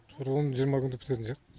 бір он күн жиырма күнде бітетін сияқты